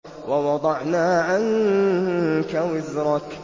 وَوَضَعْنَا عَنكَ وِزْرَكَ